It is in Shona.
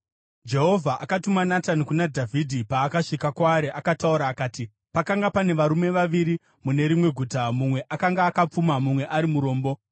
Jehovha akatuma Natani kuna Dhavhidhi. Paakasvika kwaari, akataura akati, “Pakanga pane varume vaviri mune rimwe guta, mumwe akanga akapfuma mumwe ari murombo.